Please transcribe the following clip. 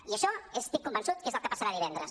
i això estic convençut que és el que passarà divendres